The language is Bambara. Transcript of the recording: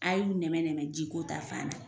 A ye nɛmɛ nɛmɛ jiko ta fanna.